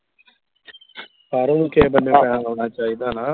ਸਾਰਿਆਂ ਨੂੰ ਕਿਸੇ ਲਾਉਣਾ ਚਾਹੀਦਾ ਨਾ